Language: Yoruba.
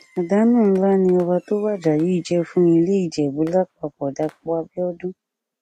àdánù ńlá ni ọba tó wájà yìí jẹ fún ilé ìjẹbù lápapọdàpọ abiodun